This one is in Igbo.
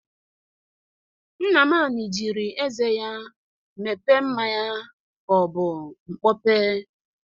Nnamani jiri eze ya mepe mmanya ka ọ bụ mpọpe